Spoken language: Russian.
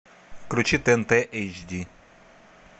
включи тнт эйч ди